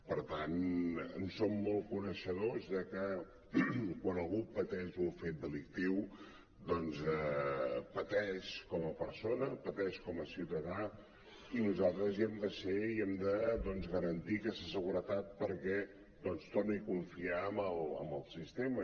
per tant en som molt coneixedors de que quan algú pateix un fet delictiu doncs pateix com a persona pateix com a ciutadà i nosaltres hi hem de ser i hem de garantir aquesta seguretat perquè torni a confiar en el sistema